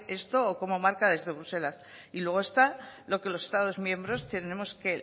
esto o cómo marca desde bruselas y luego está lo que los estados miembros tendremos que